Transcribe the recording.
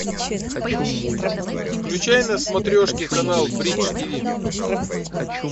включай на смотрешке канал бридж тиви